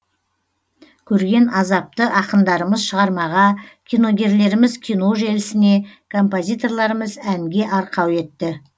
көрген азапты ақындарымыз шығармаға киногерлеріміз кино желісіне композиторларымыз әнге арқау етті